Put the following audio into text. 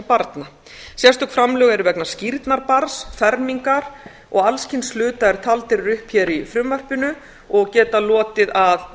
barna sérstök framlög eru vegna skírnar barns fermingar og alls kyns hluta sem taldir eru upp hér í frumvarpinu og geta lotið að